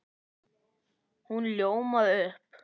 Hún ljómaði upp!